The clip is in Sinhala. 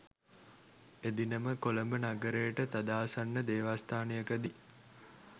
එදිනම කොළඹ නගරයට තදාසන්න දේවස්ථානයකදී